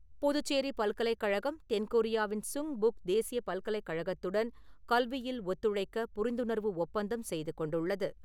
புதுச்சேரி பல்கலைக்கழகம் தென்கொரியாவின் சுங்புக் தேசியப் பல்கலைக்கழகத்துடன் கல்வியில் ஒத்துழைக்க புரிந்துணர்வு ஒப்பந்தம் செய்து கொண்டுள்ளது .